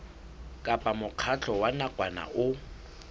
kapa mokgatlo wa nakwana o